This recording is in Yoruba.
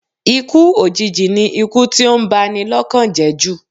Ikú òjìji ni ikú tí ó ń ba ni lọ́kàn jẹ́ jù